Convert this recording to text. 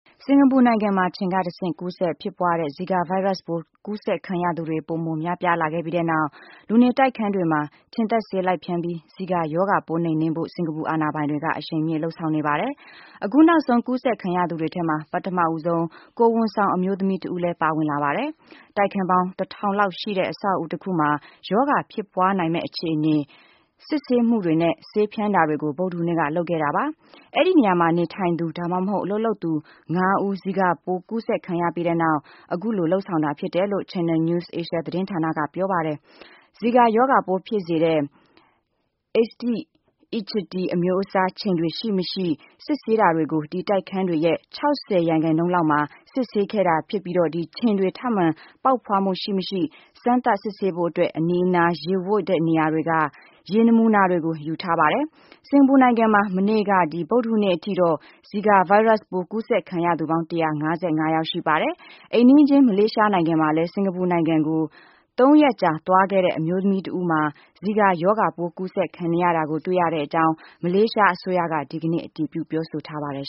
စင်ကာပူနိုင်ငံမှာ ခြင်ကတဆင့် ကူးစက်ဖြစ်ပွားတဲ့ ဇီကာ ဗိုင်းရပ်စ်ပိုး ကူးစက်ခံရသူတွေ ပိုမို များပြားလာခဲ့ပြီးတဲ့နောက် လူနေတိုက်ခန်း တွေမှာ ခြင်သတ်ဆေး လိုက်ဖြန်းပြီး ဇီကာရောဂါပိုး နှိမ်နင်းဖို့ စင်ကာပူ အာဏာပိုင်တွေက အရှိန်မြင့်လုပ်ဆောင်နေပါတယ်။ အခုနောက်ဆုံး ကူးစက်ခံရသူတွေထဲမှာ ပထမဆုံး ကိုယ်ဝန်ဆောင်အမျိုးသမီးတဦးလည်း ပါဝင်လာပါတယ်။ တိုက်ခန်းပေါင်း ၁ ထောင်လောက်ရှိတဲ့ အဆောက်အဦးတခုမှာ ရောဂါ ဖြစ်ပွားနိုင်မယ့် အခြေအနေ စစ်ဆေးမှုတွေနဲ့ ဆေးဖြန်းတာတွေကို ဗုဒ္ဓဟူးနေ့က လုပ်ခဲ့တာပါ။ အဲဒီနေရာမှာ နေထိုင်သူ ဒါမှမဟုတ် အလုပ်လုပ်သူ ၅ ဦး ဇီကာရောဂါပိုး ကူးစက်ခံရပြီးတဲ့နောက် အခုလို လုပ်ဆောင်တာဖြစ်တယ်လို့ Channel News Asia သတင်းဌာနက ပြောပါတယ်။ ဇီကာရောဂါပိုးဖြစ်စေတဲ့ အေးဒိစ် အီဂျစ်ပ်တီ အမျိုးအစားခြင်တွေ ရှိမရှိ စစ်ဆေးတာတွေကို ဒီ တိုက်ခန်းတွေရဲ့ ၆၀ ရာခိုင်နှုန်းလောက်မှာ စစ်ဆေးခဲ့ပြီး ဖြစ်ပြီး ခြင်တွေ ထပ်မံ ပေါက်ဖွားမှု ရှိမရှိ စမ်းသပ် စစ်ဆေးဖို့အတွက် အနီးအနား ရေဝပ်တဲ့နေရာတွေက ရေနမူနာတွေကို ယူထားပါတယ်။ စင်ကာပူနိုင်ငံမှာ မနေ့က ဗုဒ္ဓဟူးနေ့အထိတော့ ဇီကာဗိုင်းရပ်စ်ပိုး ကူးစက်ခံရသူ ပေါင်း ၁၅၅ ယောက် ရှိပါတယ်။ အိမ်နီးချင်း မလေးရှားနိုင်ငံမှာလည်း စင်ကာပူနိုင်ငံကို သုံးရက်ကြာ သွားခဲ့တဲ့ အမျိုးသမီးတဦးမှာ ဇီကာရောဂါပိုး ကူးစက်ခံနေရတာကို တွေ့ရတဲ့အကြောင်း မလေးရှားအစိုးရက ဒီကနေ့ အတည်ပြု ပြောဆိုထားပါတယ်